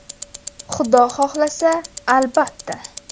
Xudo xohlasa albatta.